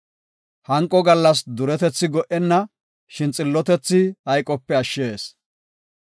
Hanqo gallas duretethi go77enna; shin xillotethi hayqope ashshees.